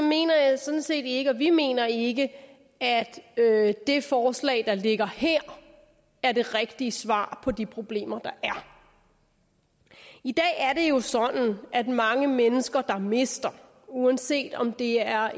mener jeg sådan set ikke og vi mener ikke at det forslag der ligger her er det rigtige svar på de problemer der er i dag er det jo sådan at mange mennesker der mister uanset om det er